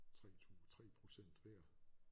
3 2 3 procent hver